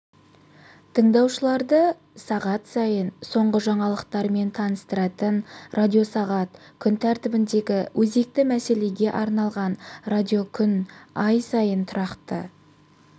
тыңдаушыларды сағат сайын соңғы жаңалықтармен таныстыратын радиосағат күн тәртібіндегі өзекті мәселеге арналған радиокүн ай сайын тұрақты